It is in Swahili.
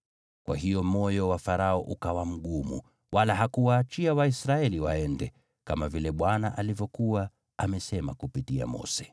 Kwa hiyo moyo wa Farao ukawa mgumu, wala hakuwaachia Waisraeli waende, kama vile Bwana alivyokuwa amesema kupitia Mose.